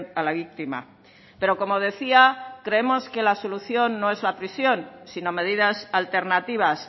a la víctima pero como decía creemos que la solución no es la prisión sino medidas alternativas